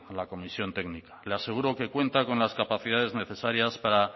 la comisión técnica le aseguro que cuenta con las capacidades necesarias para